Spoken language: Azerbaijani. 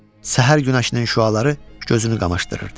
Səhər günəşinin şüaları gözünü qamaşdırırdı.